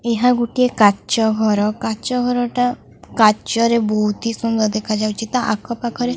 ଏହା ଗୁଟିଏ କାଚ ଘର କାଚ ଘରଟା କାଚରେ ବହୁତି ସୁନ୍ଦର ଦେଖାଯାଉଛି ତା ଆଖ ପାଖରେ--